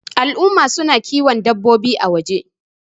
al'umma suna kiwo dabbaobi a waje